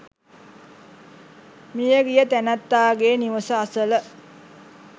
මියගිය තැනැත්තාගේ නිවස අසල